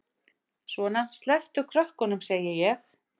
Svona, slepptu krökkunum, segi ég!